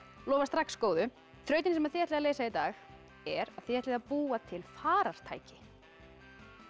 lofar strax góðu þrautin sem þið ætlið að leysa í dag er að þið ætlið að búa til farartæki